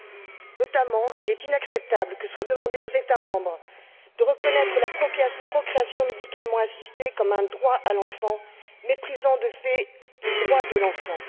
Il est notamment inacceptable qu'il soit demandé aux États membres de reconnaître la procréation médicalement assistée comme un droit à l'enfant, méprisant de fait les droits de l'enfant.